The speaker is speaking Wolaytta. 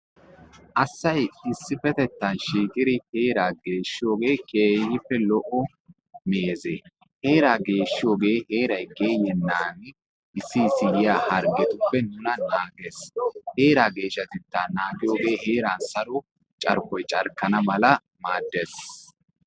Asay issippetettan shiiqidi heeraa geeshshiyoogee keehippe lo'o. Heeraa geshshiyoogee heray geeyyennan yoyaa issi issi harggetuppe naages. heeraa geeshshatetta naagiyogee heeran Saro carkkoy carkkana mala maaddes.